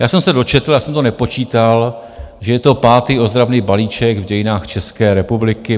Já jsem se dočetl, já jsem to nepočítal, že je to pátý ozdravný balíček v dějinách České republiky.